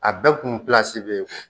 A bɛɛ kun be yen